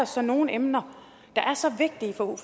så nogen emner der er så vigtige for